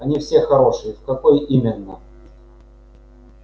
они все хорошие в какой именно